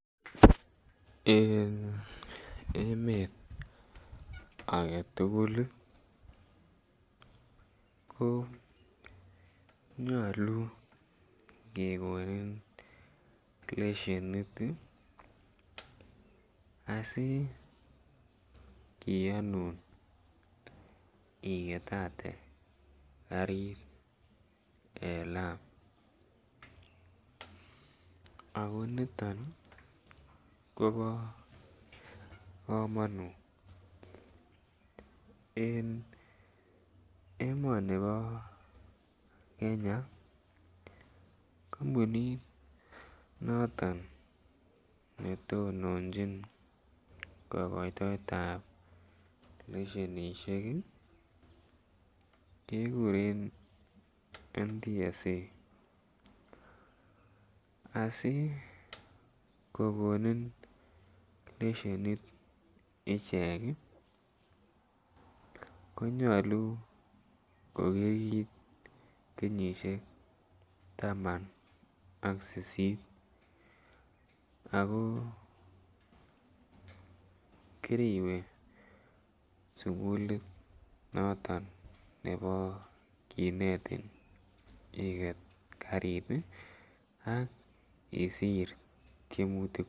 En emet agetugul ii ko nyoluu kegonin leshenit ii asi kiyonun igetate garit en lam ako niton ii kobo komonut, en emonibo Kenya kompunit noton ne tononjin kogoitoetab leshenishek ii keguren NTSA. Asi kogonin leshenit ichek ii ko nyoluu ko kiit kenyisiek taman ak sisit ako kiriwee sukulit noton nebo kinetin iget garit ii ak isir tiemutik